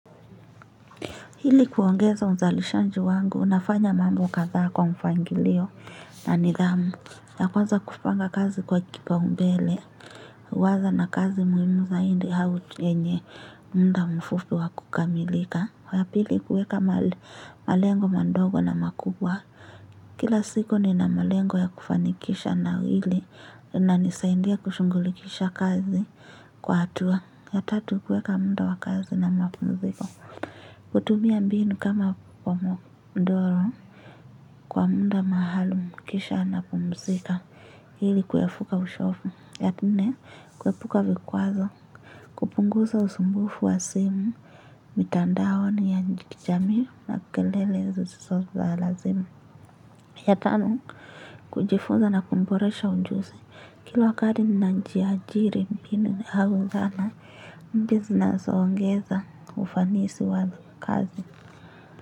Hili kuongeza mzalishaji wangu nafanya mambo kaza kwa mpangilio na nidhamu ya kwanza kupanga kazi kwa kipao mbele. Waza na kazi muhimu zaidi au yenye muda mfupi wa kukamilika. Wapili kuweka malengo madogo na makubwa. Kila siku ni na malengo ya kufanikisha na hili linanisaidia kushungulikisha kazi kwa hatua. Ya tatu kuweka muda wakazi na mapumziko. Kutumia mbinu kama kwa mdoro kwa munda mahalum kisha ana pumzika hili kuyafuka ushofu ya nne kuepuka vikwazo kupunguza usumbufu wa simu mitandao ni ya kijamii na kelele zisizo za lazima ya tano kujifunza na kumboresha ujuse kila wakati ninajiajiri mbini hauzana mbizina zoongeza ufanisi wa kazi. Kwa hivyo.